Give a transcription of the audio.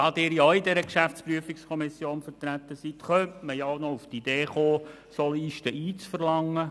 Da Sie ja auch in der GPK vertreten sind, könnte man zudem auf die Idee kommen, solche Listen zu verlangen.